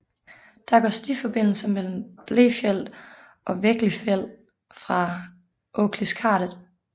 Der går stiforbindelser mellem Blefjell og Vegglifjell fra Åkliskardet